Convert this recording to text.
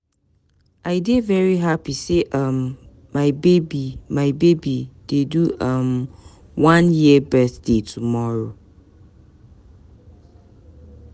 I dey very hapi sey um my baby my baby dey do um one year birthday tomorrow.